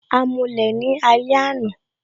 A mulẹ̀ ni alẹ́ àná